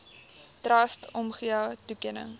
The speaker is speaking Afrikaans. trust omgee toekenning